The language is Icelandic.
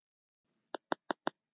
Lömbin týndu mæðrunum.